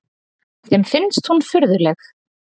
Þeim finnst hún furðuleg.